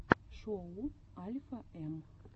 шоу альфа эм